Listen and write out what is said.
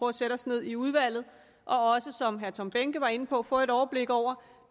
at sætte os ned i udvalget og også som herre tom behnke var inde på få et overblik over